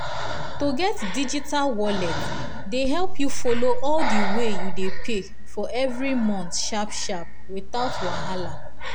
to get digital wallet dey help you follow all the wey you dey pay for every month sharp-sharp without wahala